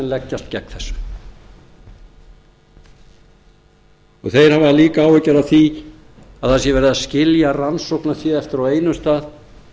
leggjast gegn þessu þeir hafa líka áhyggjur af því að það sé verið að skilja rannsóknarfé eftir á einum stað